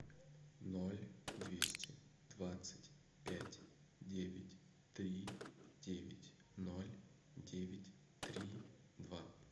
ноль двести двадцать пять девять три девять ноль девять три два